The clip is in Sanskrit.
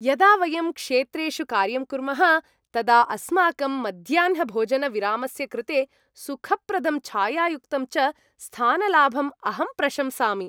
यदा वयं क्षेत्रेषु कार्यं कुर्मः तदा अस्माकं मध्याह्नभोजनविरामस्य कृते सुखप्रदं छायायुक्तं च स्थानलाभम् अहं प्रशंसामि।